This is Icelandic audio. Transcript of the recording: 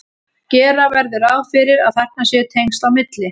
gera verður ráð fyrir að þarna séu tengsl á milli